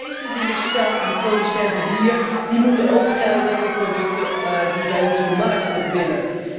Dus eisen die je stelt aan producenten hier moeten ook gelden voor producten die bij ons de markt op willen.